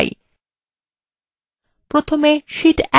প্রথমে শীট 1 ট্যাবে click করুন